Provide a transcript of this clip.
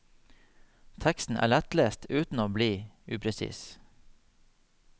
Teksten er lettlest uten å bli upresis.